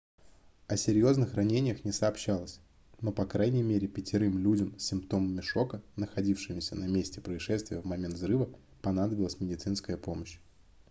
о серьезных ранениях не сообщалось но по крайней мере пятерым людям с симптомами шока находившимся на месте происшествия в момент взрыва понадобилась медицинская помощь